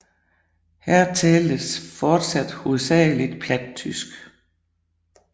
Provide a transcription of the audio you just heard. Her taltes og tales fortsat hovedsageligt plattysk